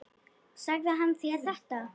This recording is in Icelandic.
Sagði hann þér þetta?